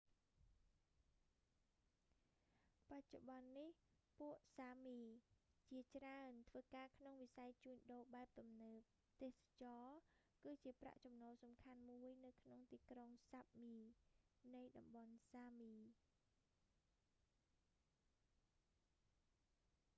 បច្ចុប្បន្ន​នេះ​ ពួកសាមី sámi ជា​ច្រើន​ ធ្វើ​ការ​ក្នុង​វិស័យ​ជួញ​ដូរ​បែបទំនើប​​។ ទេសចរណ៍​ គឺ​ជា​ប្រាក់ចំណូល​សំខាន់មួយ​នៅ​ក្នុង​ទីក្រុង​ សាប់មី sápmi នៃតំបន់​សាមី។